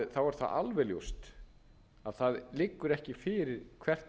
er það alveg ljóst að það liggur ekki fyrir hvert